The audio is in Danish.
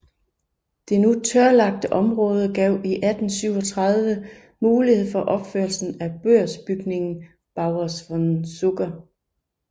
Det nu tørlagte område gav i 1837 mulighed for opførelsen af børsbygningen Beurs van Zocher